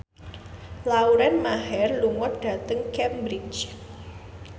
Lauren Maher lunga dhateng Cambridge